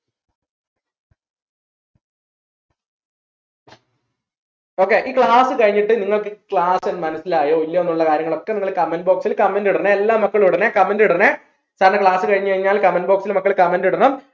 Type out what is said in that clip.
okay ഇനി class കഴിഞ്ഞിട്ട് നിങ്ങൾക്ക് class മനസ്സിലായോ ഇല്ലയോ എന്നുള്ള കാര്യങ്ങളൊക്കെ നിങ്ങൾ comment box ൽ comment ഇടണേ എല്ലാ മക്കളും ഇടണേ comment ഇടണേ കാരണം class കഴിഞ്ഞ് കഴിഞ്ഞാൽ comment box ൽ comment ഇടണം